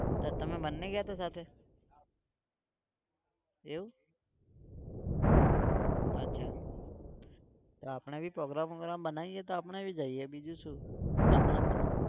તો તમે બંને ગયા હતા સાથે? એવું? અચ્છા તો આપણે भीprogram program બનાવીએ તો આપણે भी જઈએ બીજું શું? આગળના મહિનો.